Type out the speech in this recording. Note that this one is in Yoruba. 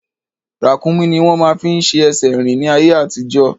Ràkúnmí ni wọ́n máa ń fi ṣe ẹsẹ̀ rín ní ayé àtijọ́